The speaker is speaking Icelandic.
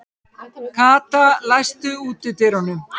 Kata, læstu útidyrunum.